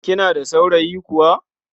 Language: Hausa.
Kina da saurayi kuwa?